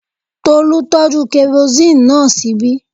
Tolú tọ́jú kerosini náà ṣíbí